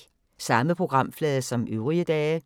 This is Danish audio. Samme programflade som øvrige dage